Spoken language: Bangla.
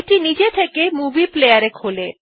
এটি নিজে থেকে movie প্লেয়ার এ খোলে